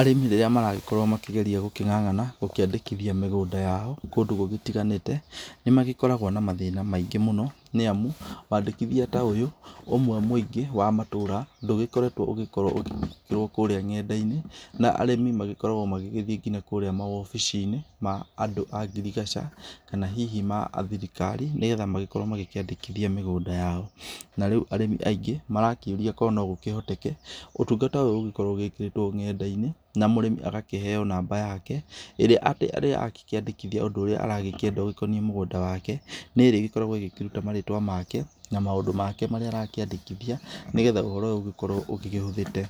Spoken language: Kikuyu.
Arĩmĩ rĩrĩa maragĩkorwo makĩgeria gũkĩng'ang'ana gũkĩandĩkithia mĩgũnda yao kũndũ gũgĩtiganĩte, nĩ magĩkoragwo na mathĩna maingĩ mũno nĩ amu, waandĩkithia ta ũyũ, ũmwe mũingĩ wa matũra ndũgĩkoretwo ũgĩkorwo ũgĩĩkĩrwo kũrĩa ng'enda-inĩ, na arimĩ magĩkoragwo magĩgĩthiĩ nginya kũrĩa maobici-inĩ ma andũ a ngirigaca kana hihi ma athirikari nĩgetha magĩkorwo magĩkĩandĩkithia mĩgũnda yao. Na rĩu arĩmi aingĩ marakĩũria korwo no gũkĩhoteke ũtungata ũyũ ũgĩkorwo ũgĩĩkĩrĩtwo ng'enda-inĩ na mũrĩmi agakĩheo namba yake, ĩrĩa angĩkĩandĩkithia ũndũ ũrĩa aragĩkĩenda ũgĩkoniĩ mũgũnda wake. Nĩ ĩrĩ ĩgĩkoragwo ĩgĩkĩruta marĩtwa make na maũndũ make marĩa arakĩandĩkithia nĩgetha ũhoro ũyũ ũgĩkorwo ũgĩgĩhũthĩte.